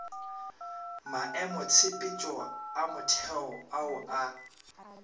maemotshepetšo a motheo ao a